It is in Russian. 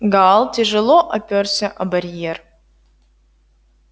гаал тяжело оперся о барьер